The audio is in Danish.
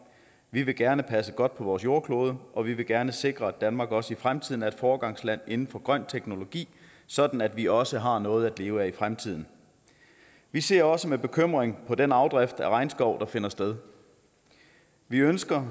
vi vil gerne passe godt på vores jordklode og vi vil gerne sikre at danmark også i fremtiden er et foregangsland inden for grøn teknologi sådan at vi også har noget at leve af i fremtiden vi ser også med bekymring på den afdrift af regnskov der finder sted vi ønsker